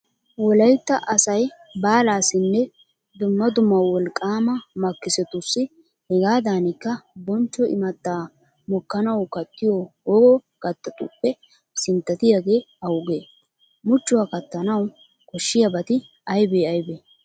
Wolaytta asay baalaassinne dumma dumma wolqqaama makkisotussi hegaadankka bonchcho imattaa mokkanawu kattiyo wogo kattatuppe sinttatiyagee awugee? Muchchuwa kattanawu koshshiyabati aybee aybee?